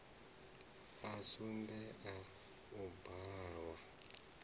a sumbe a u bvalwa